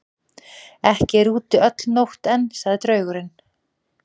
Ekki er úti öll nótt enn, sagði draugurinn.